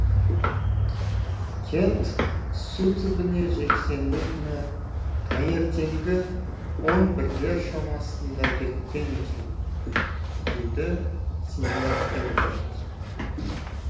кент су түбіне жексенбі күні таңертеңгі он бірлер шамасында кеткен екен дейді сеньор эрберт